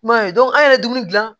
I m'a ye an yɛrɛ ye dumuni gilan